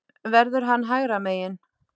Verður hann hægra megin?